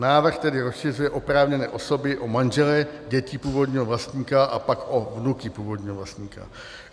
Návrh tedy rozšiřuje oprávněné osoby o manžele dětí původního vlastníka a pak o vnuky původního vlastníka.